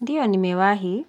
Ndiyo nimewahi